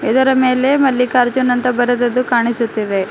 ಇದರ ಮೇಲೆ ಮಲ್ಲಿಕಾರ್ಜುನ್ ಅಂತ ಬರೆದದ್ದು ಕಾಣಿಸುತ್ತಿದೆ.